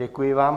Děkuji vám.